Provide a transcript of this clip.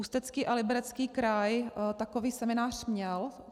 Ústecký a Liberecký kraj takový seminář měl.